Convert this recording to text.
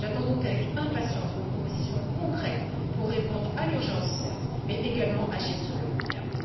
Par conséquent, j'attends avec impatience vos propositions concrètes pour répondre à l'urgence, certes, mais également pour agir sur le long terme.